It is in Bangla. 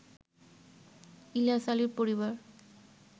ইলিয়াস আলীর পরিবার